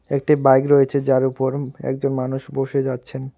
একটি বাইক রয়েছে যার উপর একজন মানুষ বসে যাচ্ছেন।